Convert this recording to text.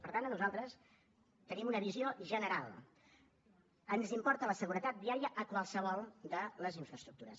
per tant a nosaltres tenim una visió general ens importa la seguretat viària a qualsevol de les infraestructures